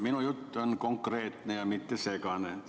Minu jutt on konkreetne, mitte segane.